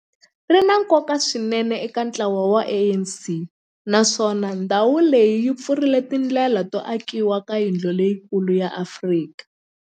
ri na nkoka swinene eka ntlawa wa ANC, naswona ndhawu leyi yi pfurile tindlela to akiwa ka yindlu leyikulu ya Afrika